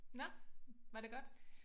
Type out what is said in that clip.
Nåh var det godt?